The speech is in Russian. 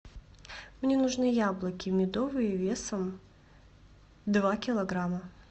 мне нужны яблоки медовые весом два килограмма